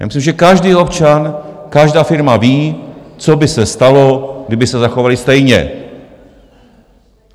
Já myslím, že každý občan, každá firma ví, co by se stalo, kdyby se zachovali stejně.